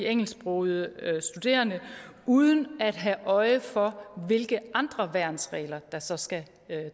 engelsksprogede studerende uden at have øje for hvilke andre værnsregler der så skal